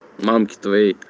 мамке твоей